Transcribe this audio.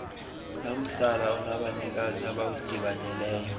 nomhlala onabanikazi abawudibaneleyo